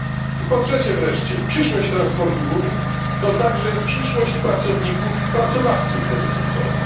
I po trzecie wreszcie, przyszłość transportu w Unii to także przyszłość pracowników i pracodawców tego sektora.